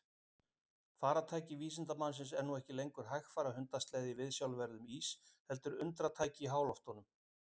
Farartæki vísindamannsins er nú ekki lengur hægfara hundasleði í viðsjárverðum ís heldur undratæki í háloftunum.